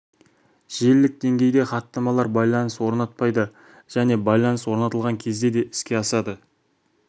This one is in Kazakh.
желілік деңгейде хаттамалар байланыс орнатпай да және байланыс орнатылған кезде де іске асады